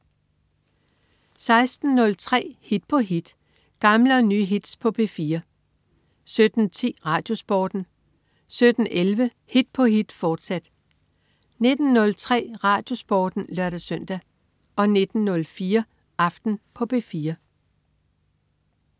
16.03 Hit på hit. Gamle og nye hits på P4 17.10 RadioSporten 17.11 Hit på hit, fortsat 19.03 RadioSporten (lør-søn) 19.04 Aften på P4